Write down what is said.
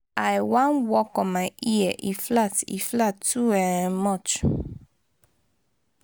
i wan work on my ear e flat e flat too um much.